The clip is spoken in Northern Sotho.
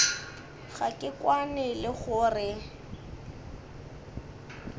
ga ke kwane le gore